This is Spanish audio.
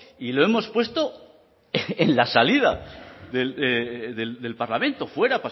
y lo hemos puesto en la salida del parlamento fuera